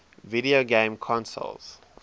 video game console